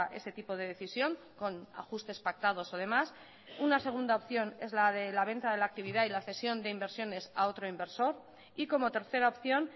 ese tipo de decisión con ajustes pactados además una segunda opción es la de la venta de la actividad y la cesión de inversiones a otro inversor y como tercera opción